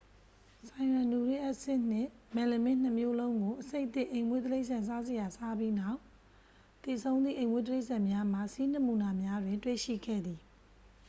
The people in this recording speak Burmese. ဆိုင်ရန်နူရစ်အက်ဆစ်နှင့် မယ်လမင်းနှစ်မျိုးလုံးကို အဆိပ်သင့် အိမ်မွေးတိရစ္ဆာန်စားစရာ စားပြီးနောက် သေဆုံးသည့် အိမ်မွေးတိရစ္ဆာန်များမှ ဆီးနမူနာများတွင် တွေ့ရှိခဲ့သည်